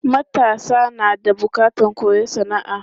Matasa na da bukatan koyon sana'a.